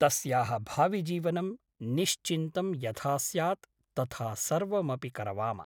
तस्याः भाविजीवनं निश्चिन्तं यथा स्यात् तथा सर्वमपि करवाम ।